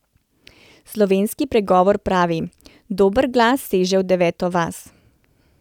Slovenski pregovor pravi: ''Dober glas seže v deveto vas''.